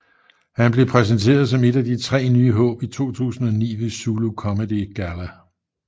Han blev præsenteret som et af de tre nye håb i 2009 ved Zulu Comedy Galla